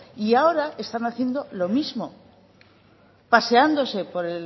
y ahora están haciendo lo mismo paseándose por